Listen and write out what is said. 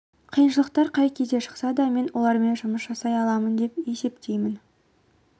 қиыншылықтар қай кезде шықса да мен олармен жұмыс жасай аламын деп есептеймін